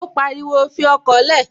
Ó pariwo, "Fi ọkọ̀ lẹ̀!"